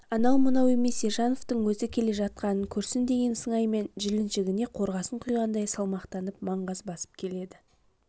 анау-мынау емес ержановтың өзі келе жатқанын көрсін деген сыңаймен жіліншігіне қорғасын құйғандай салмақтанып маңғаз басып келеді